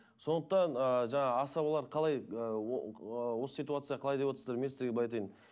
сондықтан ы жаңа асабалар қалай осы ситуация қалай деп отырсыздар мен сіздерге былай айтайын